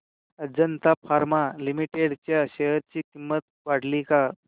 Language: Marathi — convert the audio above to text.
अजंता फार्मा लिमिटेड च्या शेअर ची किंमत वाढली का